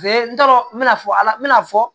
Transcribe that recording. n t'a dɔn n mɛna fɔ ala n mɛna fɔ